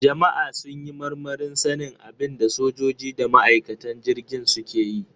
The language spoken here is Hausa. Jama'a sun yi marmarin sanin abin da sojoji da ma'aikatan jirgin suke yi.